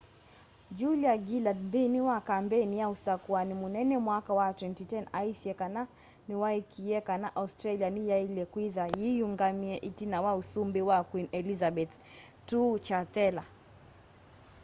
julia gillard nthini wa kambeini ya usakũani mũnene mwaka wa 2010 aisye kana niwaikĩie kana australia ni yaile kwitha yiyũngamie itina wa ũsumbĩ wa queen elizabeth ii chathela